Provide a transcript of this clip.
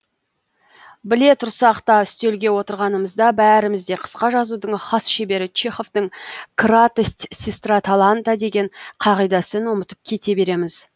біле тұрсақ та үстелге отырғанымызда бәріміз де қысқа жазудың хас шебері чеховтың кратость сестра таланта деген қағидасын ұмытып кете береміз